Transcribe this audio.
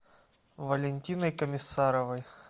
валентиной комиссаровой